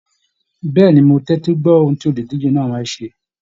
Bẹẹni, mo tẹtí gbọ ohùn tí oludije náà fẹ́ ṣé.